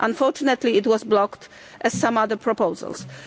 Unfortunately, it was blocked, as some other proposals were.